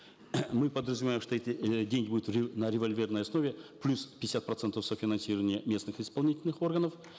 мы подразумеваем что эти э деньги будут на револьверной основе плюс пятьдесят процентов софинансирования местных исполнительных органов